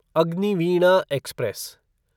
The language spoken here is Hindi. अग्निवीणा एक्सप्रेस